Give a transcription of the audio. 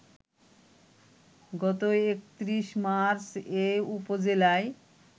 গত ৩১ মার্চ এ উপজেলায়